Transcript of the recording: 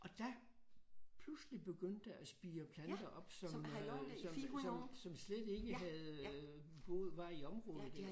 Og der pludselig begyndte at spire planter op som øh som som som slet ikke havde boet var i området dér